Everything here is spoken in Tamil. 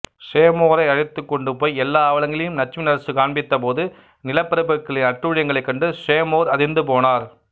சேமோரை அழைத்துக் கொண்டுபோய் எல்லா அவலங்களையும் லட்சுமிநரசு காண்பித்தபோது நிலபிரபுக்களின் அட்டூழியங்களைக் கண்டு சேமோர் அதிர்ந்துபோனார்